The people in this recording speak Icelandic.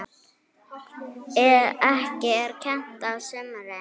Ekki er kennt á sumrin.